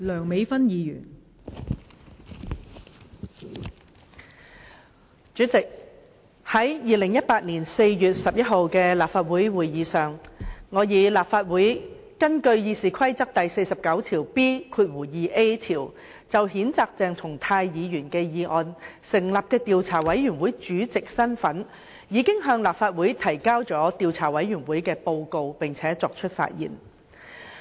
代理主席，在2018年4月11日的立法會會議上，我以立法會根據《議事規則》第 49B 條就譴責鄭松泰議員的議案成立的調查委員會主席的身份，向立法會提交了調查委員會的報告並且發言。